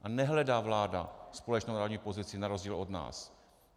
A nehledá vláda společnou národní pozici na rozdíl od nás.